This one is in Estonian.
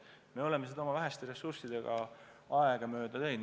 Me oleme seda tööd oma väheste ressurssidega aegamööda teinud.